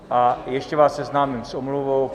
A ještě vás seznámím s omluvou.